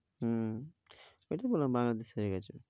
হম এই তো বললাম বাংলাদেশ হেরে গেছে।